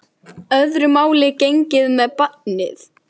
En öðru máli gegnir með barnið.